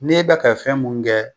Ne bɛ kɛ fɛn mun kɛ